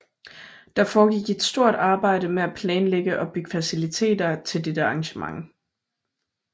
Der foregik et stort arbejde med at planlægge og bygge faciliteter til dette arrangement